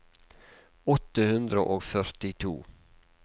åtte hundre og førtito